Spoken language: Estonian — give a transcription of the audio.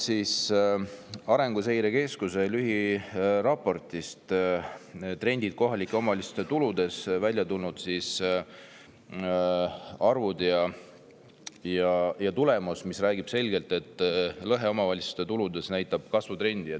Arenguseire Keskuse lühiraportist "Trendid kohalike omavalitsuste tuludes" on välja tulnud arvud, mis räägivad selgelt, et lõhe omavalitsuste tuludes näitab kasvutrendi.